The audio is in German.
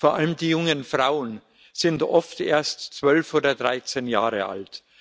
Vor allem die jungen Frauen sind oft erst 12 oder 13 Jahre alt.